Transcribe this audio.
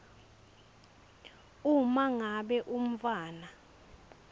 uma ngabe umntfwana